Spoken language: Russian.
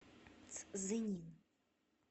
цзинин